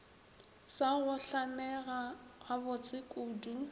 sa go hlamega gabotse kudu